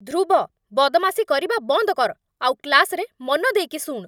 ଧ୍ରୁବ, ବଦମାସି କରିବା ବନ୍ଦ କର୍ ଆଉ କ୍ଲାସ୍ରେ ମନ ଦେଇକି ଶୁଣ୍!